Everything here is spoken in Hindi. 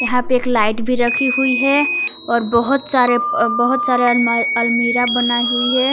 यहां पे एक लाइट भी रखी हुई है और बहुत सारे अह बहुत सारे अलमा अलमीरा बनाई हुई है।